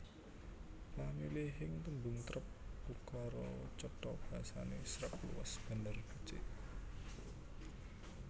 Pamilihing tembung trep ukara cetha basane sreg luwes bener becik